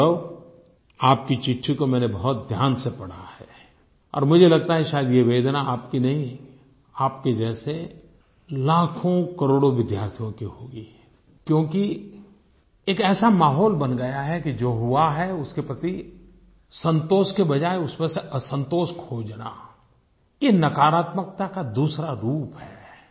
गौरव आपकी चिट्ठी को मैंने बहुत ध्यान से पढ़ा है और मुझे लगता है शायद ये वेदना आपकी ही नहीं आपके जैसे लाखोंकरोड़ो विद्यार्थियों की होगी क्योंकि एक ऐसा माहौल बन गया है कि जो हुआ है उसके प्रति संतोष के बजाय उसमें से असंतोष खोजना ये नकारात्मकता का दूसरा रूप है